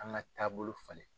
An ka taabolo falen.